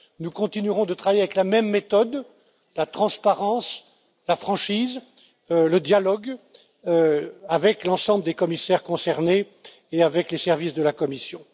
Nous continuerons de travailler avec la même méthode la transparence, la franchise, le dialogue avec l'ensemble des commissaires concernés et avec les services de la Commission.